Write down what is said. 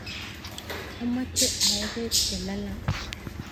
amoche aee beek chelalang